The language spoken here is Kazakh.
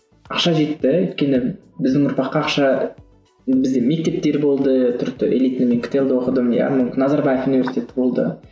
ақша жетті өйткені біздің ұрпаққа ақша бізде мектептер болды түрікті элитный мен ктл де оқыдым иә назарбаев университеті болды